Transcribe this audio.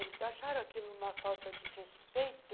Eles acharam aquilo uma falta de respeito.